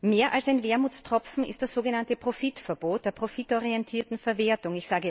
Mehr als ein Wermutstropfen ist das sogenannte Profitverbot der profitorientierten Verwertung.